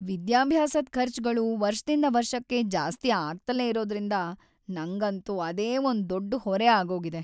ವಿದ್ಯಾಭ್ಯಾಸದ್ ಖರ್ಚ್‌ಗಳು ವರ್ಷದಿಂದ ವರ್ಷಕ್ಕೆ ಜಾಸ್ತಿ ಆಗ್ತಲೇ ಇರೋದ್ರಿಂದ ನಂಗಂತೂ ಅದೇ ಒಂದ್‌ ದೊಡ್ ಹೊರೆ ಆಗೋಗಿದೆ.